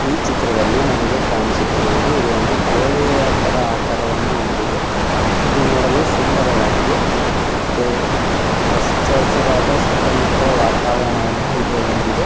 ಈ ಚಿತ್ರದಲ್ಲಿ ನಮಗೆ ಕಾಣಿಸುತ್ತಿರುವುದು ಕೋಳಿಯ ತರಹದ ಆಕಾರವನ್ನು ಹೊಂದಿದೆ ಇದು ನೋಡಲು ಸುಂದರವಾಗಿದೆ ಮತ್ತು ಆಚರಿಸಿದ ಸುತ್ತಮುತ್ತ ವಾತಾವರಣವನ್ನು ಇದು ಹೊಂದಿದೆ.